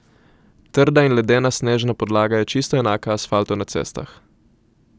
Trda in ledena snežna podlaga je čisto enaka asfaltu na cestah.